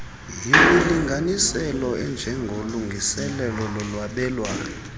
yimilinganiselo enjengolungiselelo lolwabelwano